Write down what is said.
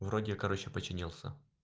вроде короче починился